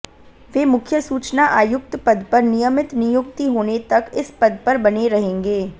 वे मुख्य सूचना आयुक्त पद पर नियमित नियुक्ति होने तक इस पद पर बने रहेंगे